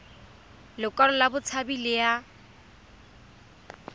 lekwalo la botshabi le ya